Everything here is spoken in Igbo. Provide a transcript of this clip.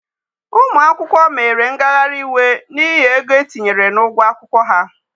Ụmụ akwụkwọ mere ngagharị iwe n'ihi ego etinyere n'ụgwọ akwụkwọ ha.